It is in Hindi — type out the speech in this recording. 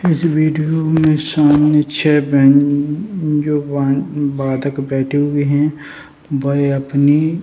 इस वीडियो में सामने छे बैंजो बाधक बैठे हुए है वे अपनी --